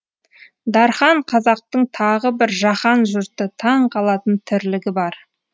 дархан қазақтың тағы бір жаһан жұрты таң қалатын тірлігі бар